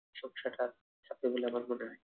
চাপবে বলে আমার মনে হয়